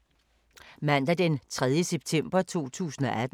Mandag d. 3. september 2018